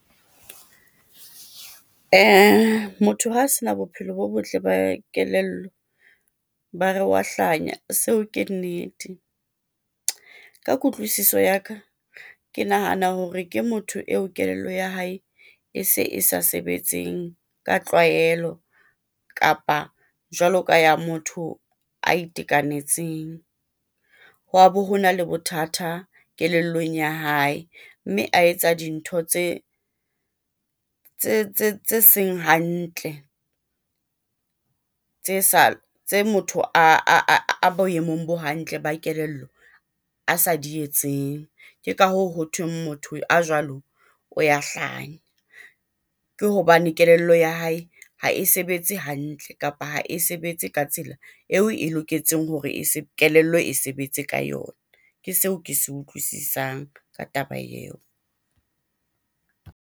Ee, Motho ha se na bophelo bo botle ba kelello, ba re wa hlanya seo ke nnete, ka kutlwisiso ya ka, ke nahana hore ke motho eo kelello ya hae e se e sa sebetseng ka tlwaelo kapa jwaloka ya motho a itekanetseng. Hwa bo, ho na le bothata kelellong ya hae, mme a etsa dintho tse tse seng hantle, tse motho ]?] a boemong bo hantle ba kelello a sa di etseng. Ke ka hoo, ho thweng motho a jwalo o ya hlanya, ke hobane kelello ya hae ha e sebetse hantle, kapa ha e sebetse ka tsela eo e loketseng hore kelello e sebetse ka yona, ke seo ke se utlwisisang ka taba eo.